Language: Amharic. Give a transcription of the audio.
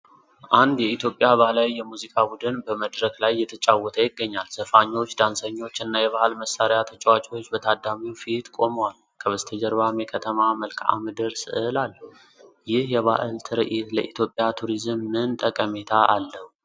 አንድ የኢትዮጵያ ባህላዊ የሙዚቃ ቡድን በመድረክ ላይ እየተጫወተ ይገኛል። ዘፋኞች፣ ዳንሰኞች እና የባህል መሳሪያ ተጫዋቾች በታዳሚው ፊት ቆመዋል። ከበስተጀርባም የከተማ መልክዓ ምድር ሥዕል አለ። ይህ የባህል ትርኢት ለኢትዮጵያ ቱሪዝም ምን ዓይነት ጠቀሜታ አለው?